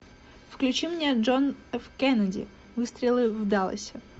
включи мне джон ф кеннеди выстрелы в далласе